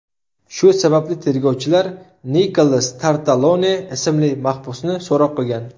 Shu sababli tergovchilar Nikolas Tartalone ismli mahbusni so‘roq qilgan.